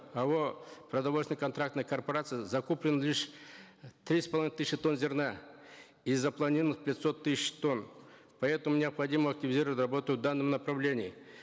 ао продовольственно контрактная корпорация закуплено лишь три с половиной тысяч тонн зерна из запланированных пятисот тысяч тонн поэтому необходимо активизировать работу в данном направлении